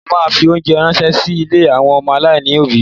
Mo ma fi óńjẹ ránṣẹ́ sí ilé àwọn ọmọ aláìní òbí.